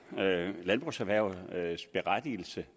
landbrugserhvervets berettigelse